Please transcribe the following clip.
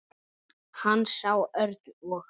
Hann sá Örn og